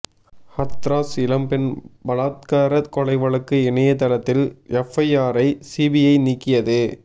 ஹத்ராஸ் இளம் பெண் பலாத்கார கொலை வழக்கு இணையதளத்தில் எப்ஐஆரை சிபிஐ நீக்கியது